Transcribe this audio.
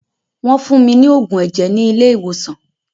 Wọ́n fún mí ní oògùn ẹ̀jẹ̀ ni ilé ìwòsàn.